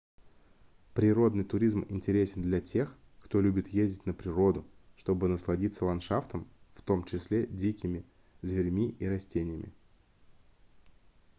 природный туризм интересен для тех кто любит ездить на природу чтобы насладиться ландшафтом в том числе дикими зверьми и растениями